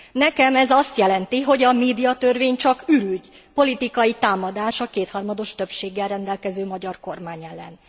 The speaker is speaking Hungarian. Nekem ez azt jelenti, hogy a médiatörvény csak ürügy, politikai támadás a kétharmados többséggel rendelkező magyar kormány ellen.